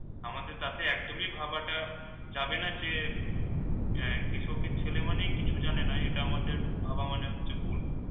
আমাদের তাতে একদমই ভাবা যাবে না যে and কৃষকের ছেলে মানেই কিছু জানে না এটা আমাদের ভাবা মানে হচ্ছে ভুল।